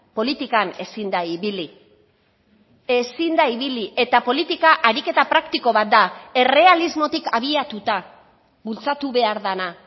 politikan ezin da ibili ezin da ibili eta politika ariketa praktiko bat da errealismotik abiatuta bultzatu behar dena